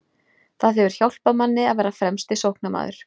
Það hefur hjálpað manni að vera fremsti sóknarmaður.